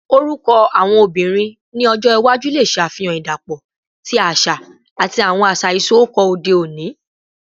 Orukọ awọn obinrin ni ọjọ iwaju le ṣe afihan idapọ ti aṣa ati awọn aṣa isọkọ ode oni